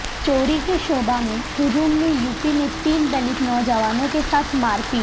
چوری کے شبہ میں ہجوم نے یوپی میں تین دلت نوجوانوں کے ساتھ مارپیٹ